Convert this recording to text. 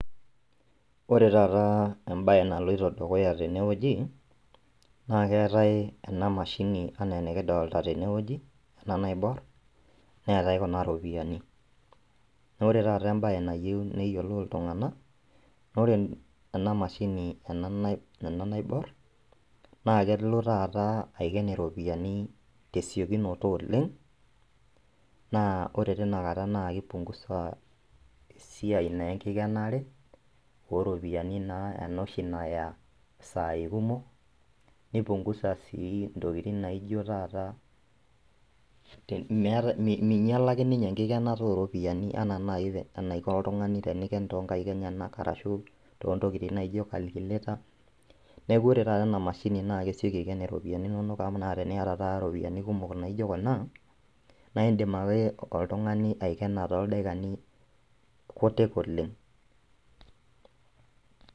Ore taata embaye naloito dukuya tenewoji naa keetae ena mashini enaa enikidolta tenewoji ena naiborr neetae kuna ropiyiani nore taata embaye nayieu neyiolou iltung'anak nore ena mashini ena nai ena naiborr naa kelo taata aiken iropiyiani tesiokinoto oleng naa ore tinakata naa kipungusa esiai naa enkikenare oropiyiani naa enoshi naya isai kumok nipungusa sii intokiting naijio taata te mei meinyialaki ninye enkikenata oropiyiani anaa naaji enaiko oltung'ani eniken tonkaik enyenak arashu tontokiting naijio calculator neku ore taata ena mashini naa kesioki aiken iropiyiani inonok amu teniyata taata iropiyiani kumok naijio kuna naindim ake oltung'ani aikena toldaikini kutik oleng.